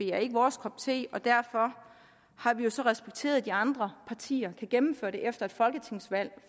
er vores kop te derfor har vi jo så respekteret at de andre partier kan gennemføre det efter et folketingsvalg